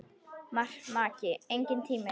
Maki: Enginn tími.